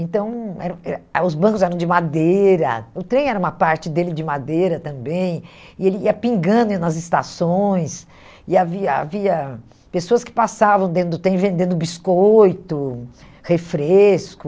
Então, eram eram ah os bancos eram de madeira, o trem era uma parte dele de madeira também, e ele ia pingando nas estações, e havia havia pessoas que passavam dentro do trem vendendo biscoito, refresco...